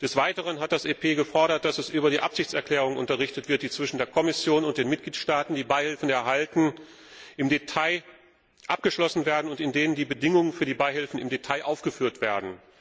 Des Weiteren hat das EP gefordert, dass es über die Absichtserklärungen unterrichtet wird, die zwischen der Kommission und den Mitgliedsstaaten, die Beihilfen erhalten, im Detail abgeschlossen werden und in denen die Bedingungen für die Beihilfen im Detail aufgeführt werden.